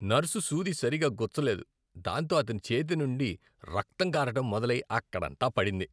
Nurse సూది సరిగ్గా గుచ్చలేదు, దాంతో అతని చేతి నుండి రక్తం కారటం మొదలై అక్కడంతా పడింది.